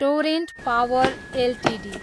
torrent Power Ltd